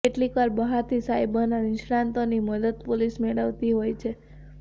કેટલીકવાર બહારથી સાયબરના નિષ્ણાતોની મદદ પોલીસ મેળવતી હોય છે